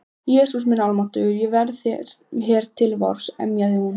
Jesús minn almáttugur, ég verð hér til vors. emjaði hún.